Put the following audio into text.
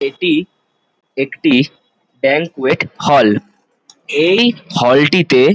এটি একটি banquet hall এই হল টিতে--